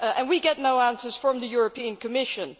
We get no answers from the European Commission.